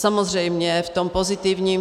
Samozřejmě v tom pozitivním.